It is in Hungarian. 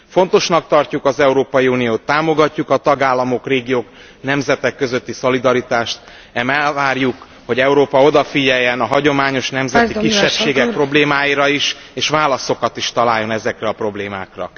Fontosnak tartjuk az Európai Uniót, támogatjuk a tagállamok, régiók, nemzetek közötti szolidaritást, ám elvárjuk, hogy Európa odafigyeljen a hagyományos nemzeti kisebbségek problémáira is, és válaszokat is találjon ezekre a problémákra.